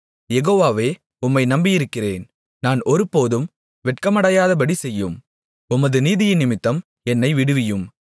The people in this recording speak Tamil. யெகோவாவே உம்மை நம்பியிருக்கிறேன் நான் ஒருபோதும் வெட்கமடையாதபடி செய்யும் உமது நீதியினிமித்தம் என்னை விடுவியும்